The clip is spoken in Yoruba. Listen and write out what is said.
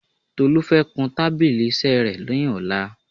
Tolú fẹ́ kun tábílì iṣẹ́ rẹ̀ ni ọ̀la